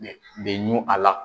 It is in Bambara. be be ɲun a la.